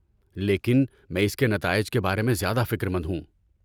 لیکن میں اس کے نتائج کے بارے میں زیادہ فکر مند ہوں۔